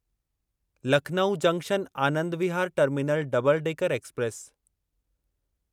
Lucknow junction Anand Vihar terminal double decker express